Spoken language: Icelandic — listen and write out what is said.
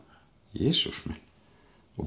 Jesús minn og